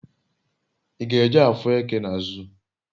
I g'eje afu eke na zoo?